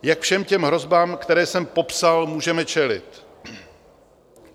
Jak všem těm hrozbám, které jsem popsal, můžeme čelit?